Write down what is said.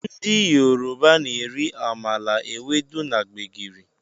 Ndị Yoruba na-eri amala, ewedu na gbegiri